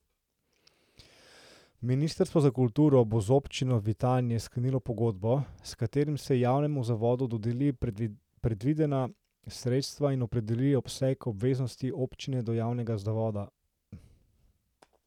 Ministrstvo za kulturo bo z Občino Vitanje sklenilo pogodbo, s katero se javnemu zavodu dodeli predvidena sredstva in opredeli obseg obveznosti občine do javnega zavoda.